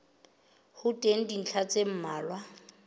ho teng dintlha tse mmalwa